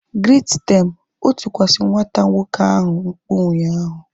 Greet them! O tikwasi nwata nwoke ahu mkpu ụnyaahụ